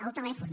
el telèfon